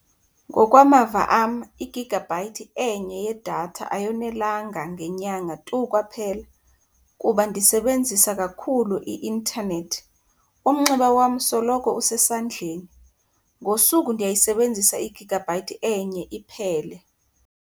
Ngokwamava am igigabhayithi enye yedatha ayonelanga ngenyanga tu kwaphela kuba ndisebenzisa kakhulu i-intanethi, umnxeba wam soloko usesandleni. Ngosuku ndiyayisebenzisa igigabhayithi enye iphele.